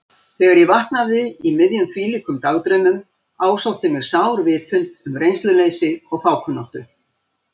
Þegar ég vaknaði í miðjum þvílíkum dagdraumum ásótti mig sár vitund um reynsluleysi og fákunnáttu.